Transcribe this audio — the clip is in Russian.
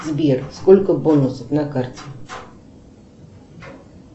сбер сколько бонусов на карте